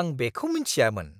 आं बेखौ मोनथियामोन!